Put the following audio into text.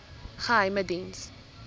geheimediens